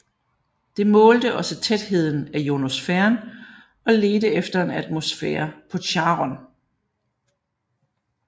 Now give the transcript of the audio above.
Det målte også tætheden af ionosfæren og ledte efter en atmosfære på Charon